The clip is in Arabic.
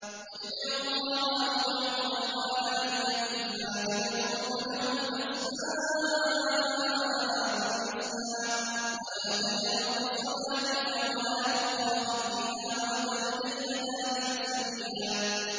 قُلِ ادْعُوا اللَّهَ أَوِ ادْعُوا الرَّحْمَٰنَ ۖ أَيًّا مَّا تَدْعُوا فَلَهُ الْأَسْمَاءُ الْحُسْنَىٰ ۚ وَلَا تَجْهَرْ بِصَلَاتِكَ وَلَا تُخَافِتْ بِهَا وَابْتَغِ بَيْنَ ذَٰلِكَ سَبِيلًا